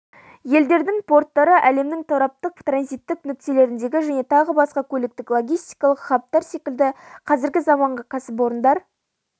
елдердің порттары әлемнің тораптық транзиттік нүктелеріндегі және тағы басқа көліктік-логистикалық хабтар секілді қазіргі заманғы кәсіпорындар